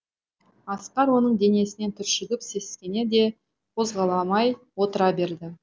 асқар оның денесінен түршігіп сескене де қозғала алмай отыра берді